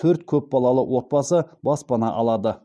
төрт көп балалы отбасы баспана алады